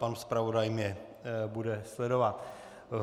Pan zpravodaj mě bude sledovat.